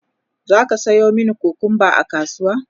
zaka Sayo mani kukumba a kasuwa?